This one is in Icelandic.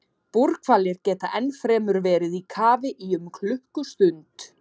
Búrhvalir geta ennfremur verið í kafi í um klukkustund.